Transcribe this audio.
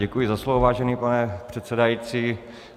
Děkuji za slovo, vážený pane předsedající.